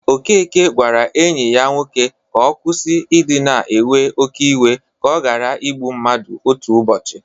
Okeke gwara enyi ya nwoke ka ọ kwusi idị na ewe oke iwe ka ọ ghara ịgbụ mmadụ otu ụbọchị.